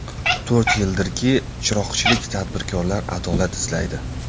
To‘rt yildirki, chiroqchilik tadbirkorlar adolat izlaydi.